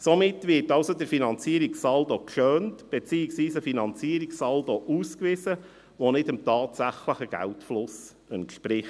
Somit wird der Finanzierungssaldo geschönt, beziehungsweise ein Finanzierungssaldo ausgewiesen, welcher nicht dem tatsächlichen Geldfluss entspricht.